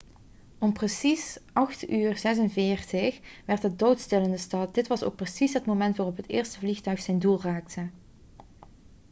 om precies 8.46 uur werd het doodstil in de stad dit was ook precies het moment waarop het eerste vliegtuig zijn doel raakte